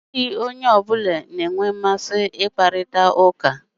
Ọ bụghị onye ọ bụla na-enwe mmasị ị kparita ụka.